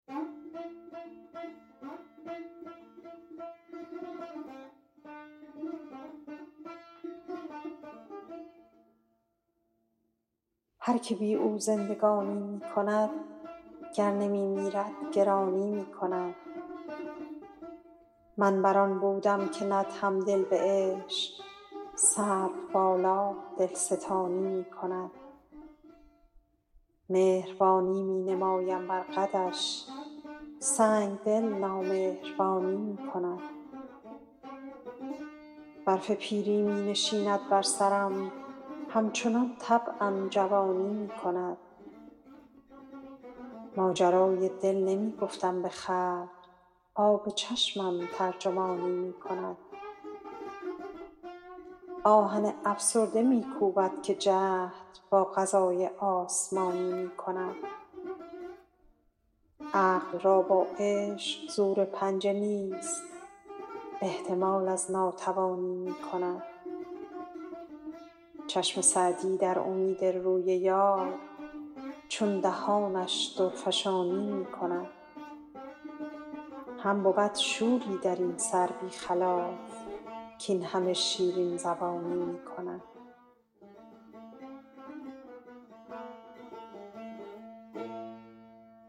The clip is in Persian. هر که بی او زندگانی می کند گر نمی میرد گرانی می کند من بر آن بودم که ندهم دل به عشق سروبالا دلستانی می کند مهربانی می نمایم بر قدش سنگدل نامهربانی می کند برف پیری می نشیند بر سرم همچنان طبعم جوانی می کند ماجرای دل نمی گفتم به خلق آب چشمم ترجمانی می کند آهن افسرده می کوبد که جهد با قضای آسمانی می کند عقل را با عشق زور پنجه نیست احتمال از ناتوانی می کند چشم سعدی در امید روی یار چون دهانش درفشانی می کند هم بود شوری در این سر بی خلاف کاین همه شیرین زبانی می کند